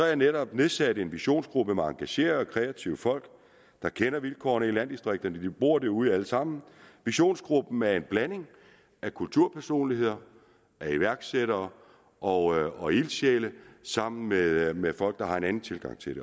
jeg netop nedsat en visionsgruppe med engagerede og kreative folk der kender vilkårene i landdistrikterne fordi de bor derude alle sammen visionsgruppen er en blanding af kulturpersonligheder iværksættere og og ildsjæle sammen med med folk der har en anden tilgang til